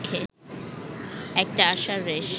একটা আশার রেশ